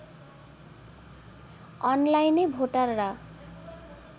অনলাইনে ভোটাররা